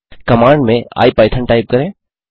command में ipython type करें